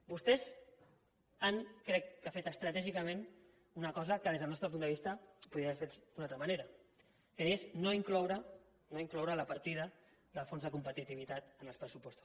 vostès han crec que fet estratègicament una cosa que des del nostre punt de vista es podria haver fet d’una altra manera que és no incloure la partida del fons de competitivitat en els pressupostos